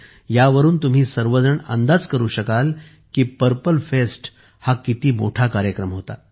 यावरून तुम्ही सर्वजण अंदाज करू शकाल की पर्पल फेस्ट किती मोठा कार्यक्रम होता